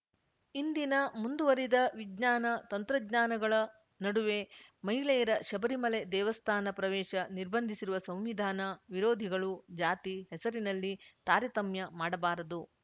ಇಂದಿನ ಮುಂದುವರಿದ ವಿಜ್ಞಾನ ತಂತ್ರಜ್ಞಾಗಳ ನಡುವೆ ಮಹಿಳೆಯರ ಶಬರಿಮಲೆ ದೇವಸ್ಥಾನ ಪ್ರವೇಶ ನಿರ್ಬಂಧಿಸಿರುವ ಸಂವಿಧಾನ ವಿರೋಧಿಗಳು ಜಾತಿ ಹೆಸರಿನಲ್ಲಿ ತಾರತಮ್ಯ ಮಾಡಬಾರದು